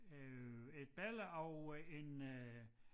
Øh et billede af øh en øh